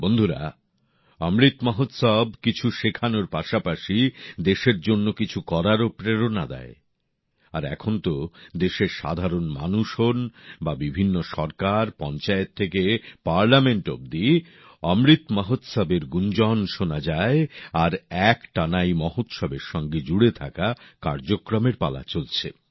বন্ধুরা অমৃত মহোৎসব কিছু শেখানোর পাশাপাশি আমাদের দেশের জন্য কিছু করারও প্রেরণা দেয় আর এখন তো দেশের সাধারণ মানুষ হোন বা বিভিন্ন সরকার পঞ্চায়েত থেকে সংসদ অবধি অমৃত মহোৎসবের গুঞ্জন শোনা যায় আর একটানা এই মহোৎসবের সঙ্গে জুড়ে থাকা কার্যক্রমের পালা চলছে